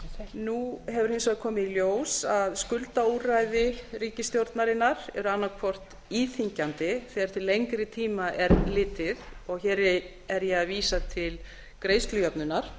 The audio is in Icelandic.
nú hefur hins vegar komið ljós að skuldaúrræði ríkisstjórnarinnar eru annað hvort íþyngjandi þegar til lengri tíma er litið og hér er ég að vísa til greiðslujöfnunar